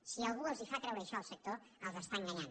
si algú els fa creure això al sector els està enganyant